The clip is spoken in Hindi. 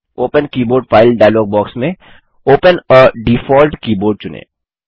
open keyboard file dialog box में ओपन आ डिफॉल्ट कीबोर्ड चुनें